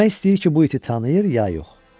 Bilmək istəyir ki, bu iti tanıyır ya yox.